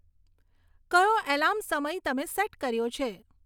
કયો એલાર્મ સમય તમે સેટ કર્યો છે